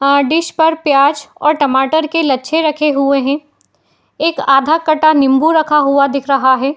अं dish पर प्याज और टमाटर के लच्छे रखे हुए हैं। एक आधा कटा नींबू रखा हुआ दिख रहा है।